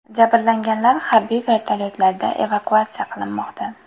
Jabrlanganlar harbiy vertolyotlarda evakuatsiya qilinmoqda.